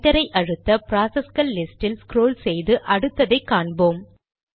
என்டரை அழுத்த ப்ராசஸ்கள் லிஸ்ட் இல் ஸ்க்ரால் செய்து அடுத்ததை காண்போம்